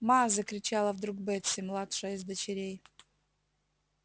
ма закричала вдруг бетси младшая из дочерей